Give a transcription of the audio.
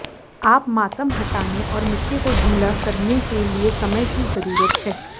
आप मातम हटाने और मिट्टी को ढीला करने के लिए समय की जरूरत है